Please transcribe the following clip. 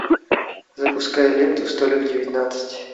запускай ленту столик девятнадцать